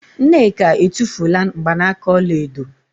Nneka e tufula n gbanaka ọla edo